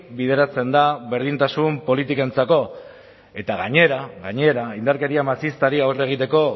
bideratzen da berdintasun politikentzako eta gainera gainera indarkeria matxistari aurre egiteko